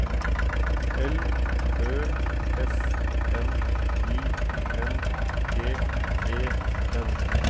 L Ø S N I N G E N